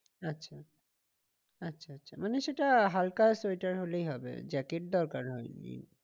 আচ্ছা আচ্ছা আচ্ছা মানে সেটা হালকা সোয়েটার হলেই হবে জ্যাকেট দরকার হয়নি।